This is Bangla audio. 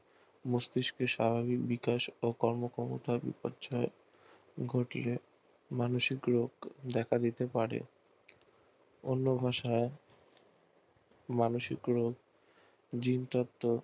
মস্তিষ্কে স্বাভাবিক বিকাশ ও কর্ম ক্ষমতার বিপর্যয় ঘটিয়ে মানসিক রোগ দেখা দিতে পারে অন্য ভাষায় মানসিক রোগ জিন তত্ত্ব